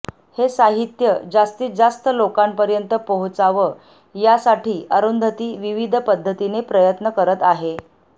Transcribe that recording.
हे साहित्य जास्तीत जास्त लोकांपर्यंत पोहोचावं यासाठी अरुंधती विविध पद्धतीने प्रयत्न करत आहे